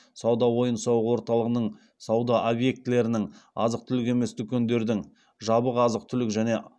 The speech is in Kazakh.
сауда ойын сауық орталығының сауда объектілерінің азық түлік емес дүкендердің жабық азық түлік және